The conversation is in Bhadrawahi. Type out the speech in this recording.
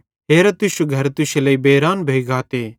हेरा तुश्शू घर तुश्शे लेइ बेरान भोइ गाते